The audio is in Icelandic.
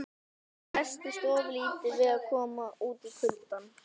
Hann hresstist ofurlítið við að koma út í kuldann.